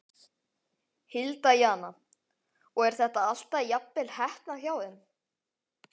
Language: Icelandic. Hilda Jana: Og er þetta alltaf jafnvel heppnað hjá þeim?